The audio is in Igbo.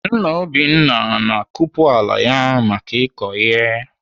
Nna Obinna na-akupu ala ya maka ịkọ ihe.